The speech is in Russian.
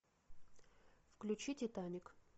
включи титаник